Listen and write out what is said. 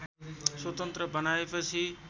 स्वतन्त्र बनाएपछि